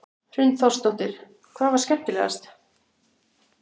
Hrund Þórsdóttir: Hvað var skemmtilegast?